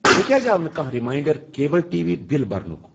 مےٚ کیٛازِِ آو نہٕ کانٛہہ ریمنانڑر کیبٕل ٹی وی بِل برنُک؟